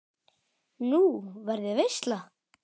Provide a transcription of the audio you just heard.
Nú, verður veisla?